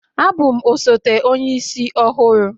Abụ m osote Onye isi ọhụrụ